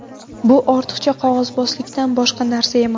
Bu ortiqcha qog‘ozbozlikdan boshqa narsa emas.